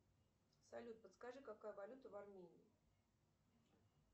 салют подскажи какая валюта в армении